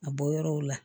A bɔ yɔrɔw la